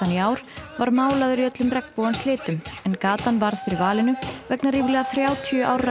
í ár var málaður í öllum regnbogans litum en gatan varð fyrir valinu vegna ríflega þrjátíu ára